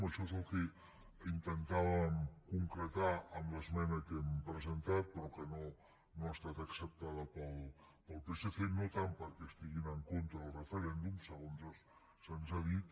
això és el que intentàvem concretar amb l’esmena que hem presentat però que no ha estat acceptada pel psc no tant perquè estiguin en contra del referèndum segons se’ns ha dit